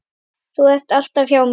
Þú ert alltaf hjá mér.